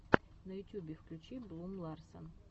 на ютюбе включи блум ларсен